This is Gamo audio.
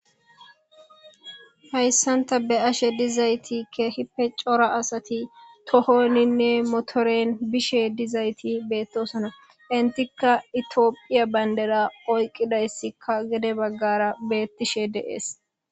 hayssanta be ashe dizaytikkehipe cora asati tohoninne motoren bishe dizayti beettosana intikka itiophiya bayndera oyqqidayssikka gede baggara beettishe deees